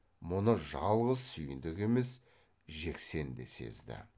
мұны жалғыз сүйіндік емес жексен де сезді